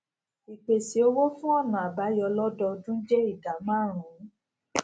ìpèsè owó fún ònà àbáyọ lódọọdún jé ìdá márùnún